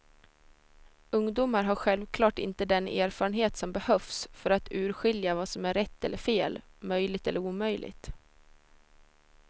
Ungdomar har självklart inte den erfarenhet som behövs för att urskilja vad som är rätt eller fel, möjligt eller omöjligt.